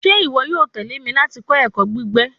Ṣe iwọ yoo tẹle mi lati kọ ẹkọ gbigbe